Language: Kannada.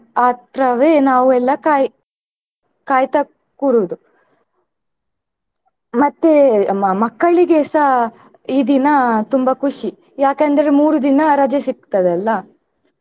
ಆ ಆತ್ರವೇ ನಾವೆಲ್ಲಾ ಕಾಯ್~ ಕಾಯ್ತಾ ಕೂರೋದು ಮತ್ತೆ ಮ~ ಮಕ್ಕಳಿಗೆಸ ಈ ದಿನ ತುಂಬಾ ಖುಷಿ ಯಾಕಂದ್ರೆ ಮೂರುದಿನ ರಜೆ ಸಿಗ್ತದಲ್ಲಾ.